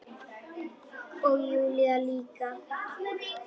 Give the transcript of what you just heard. Og Júlía líka.